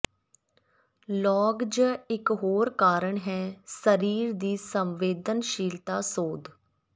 ਲਾਗ ਜ ਇਕ ਹੋਰ ਕਾਰਨ ਹੈ ਸਰੀਰ ਦੀ ਸੰਵੇਦਨਸ਼ੀਲਤਾ ਸੋਧ